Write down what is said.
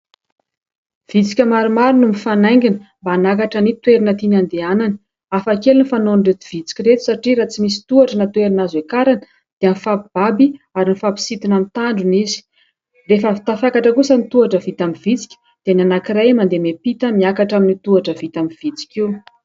Vitsika maromaro no mifanaingina mba hanakatra ny toerana tiany andehanana, hafakely ny fanaon'ireto vitsika ireto satria raha tsy misy tohatra na toerana azo hiakarana dia mifampibaby ary mifampisintona amin'ny tandrony izy. Rehefa avy tafakatra kosa ny tohatra vita amin'ny vitsika, dia ny anankiray mandeha miampita miakatra amin'io tohatra vita amin'ny vitsika io.